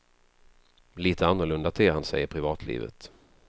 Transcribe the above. Lite annorlunda ter han sig i privatlivet.